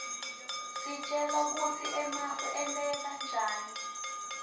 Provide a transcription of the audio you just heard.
isitjela kutsi emafu enteka njani